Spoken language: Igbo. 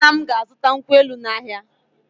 Nne m ga-azụta nkwụ elụ n’ahịa.